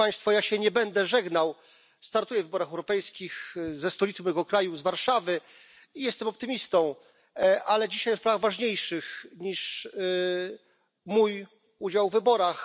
Ja się nie będę żegnał, startuję w wyborach europejskich ze stolicy mojego kraju, z Warszawy, i jestem optymistą, ale dzisiaj o sprawach ważniejszych niż mój udział w wyborach.